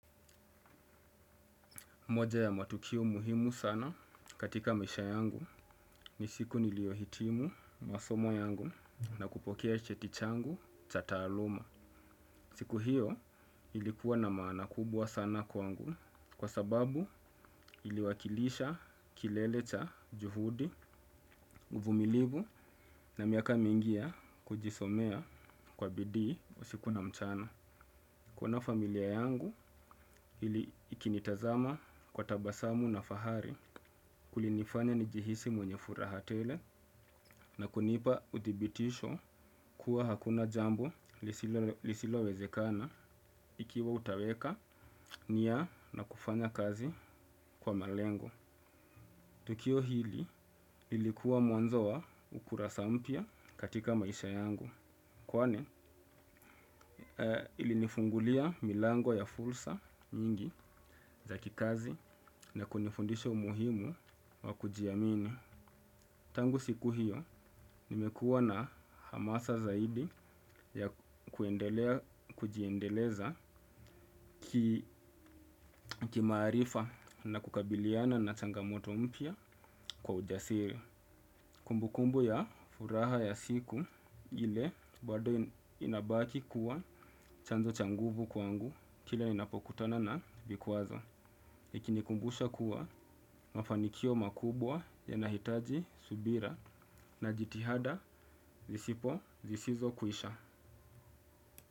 Moja ya matukio muhimu sana katika maisha yangu ni siku niliyo hitimu masomo yangu na kupokea cheti changu cha taaluma. Siku hiyo ilikuwa na maana kubwa sana kwangu kwa sababu iliwakilisha kilele cha juhudi, uvumilivu na miaka mingi ya kujisomea kwa bidii usiku na mchana. Kuona familia yangu ikinitazama kwa tabasamu na fahari kulinifanya nijihisi mwenye furaha tele na kunipa uthibitisho kuwa hakuna jambo lisilo wezekana ikiwa utaweka nia na kufanya kazi kwa malengo. Tukio hili ilikuwa mwanzo wa ukurasa mpya katika maisha yangu. Kwani ilinifungulia milango ya fursa nyingi za kikazi na kunifundisha umuhimu wa kujiamini. Tangu siku hiyo nimekuwa na hamasa zaidi ya kujiendeleza kimaarifa na kukabiliana na changamoto mpya kwa ujasiri. Kumbukumbu ya furaha ya siku ile bado inabaki kuwa chanzo cha nguvu kwangu kile ninapokutana na vikwazo. Ikinikumbusha kuwa mafanikio makubwa yanahitaji subira na jitihada zisizo kwisha.